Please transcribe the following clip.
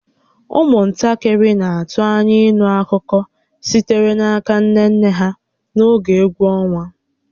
Ụmụntakịrị na-atụ anya ịnụ akụkọ sitere n'aka nne nne ha n'oge egwu ọnwa